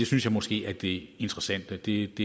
synes jeg måske er det interessante det